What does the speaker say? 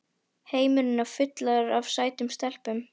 Heimurinn er fullur af sætum stelpum!